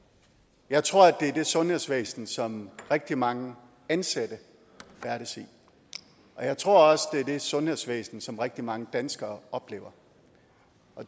i jeg tror at det er det sundhedsvæsen som rigtig mange ansatte færdes i og jeg tror også at det er det sundhedsvæsen som rigtig mange danskere oplever